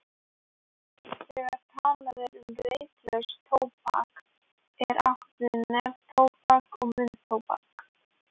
Þegar talað er um reyklaust tóbak er átt við neftóbak og munntóbak.